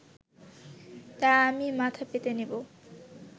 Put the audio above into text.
তা আমি মাথা পেতে নেবো